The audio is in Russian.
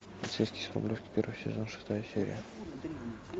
полицейский с рублевки первый сезон шестая серия